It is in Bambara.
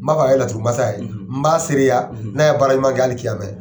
N m'a fɛ ka kɛ laturu masa ye n m'a seereya n'a ye baara ɲuman kɛ hali